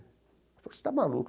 Ela falou, você está maluco.